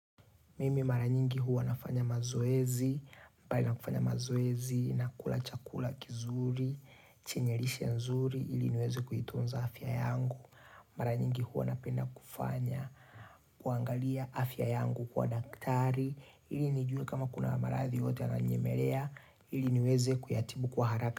Mimi mara nyingi hua nafanya mazoezi, mbali na kufanya mazoezi, nakula chakula kizuri, chenyerishe nzuri, ili niweze kuitunza afya yangu. Mara nyingi hua napenda kufanya, kuangalia afya yangu kwa daktari, ili nijue kama kuna marathi yote ananyemelea, ili niweze kuyatibu kwa haraka.